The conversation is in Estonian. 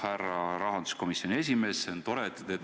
Härra rahanduskomisjoni esimees!